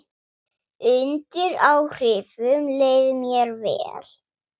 Undir áhrifum leið mér vel.